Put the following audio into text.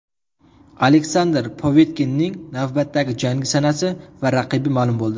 Aleksandr Povetkinning navbatdagi jangi sanasi va raqibi ma’lum bo‘ldi.